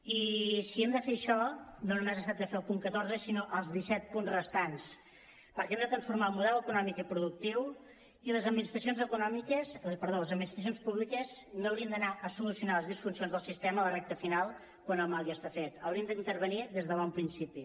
i si hem de fer això no només es tracta de fer el punt catorze sinó els disset punts restants perquè hem de transformar el model econòmic i productiu i les administracions públiques no haurien d’anar a solucionar les disfuncions del sistema a la recta final quan el mal ja està fet hi haurien d’intervenir des de bon principi